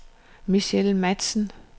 Michelle Matzen